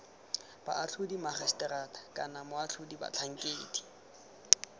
boatlhodi magiseterata kana moatlhodi batlhankedi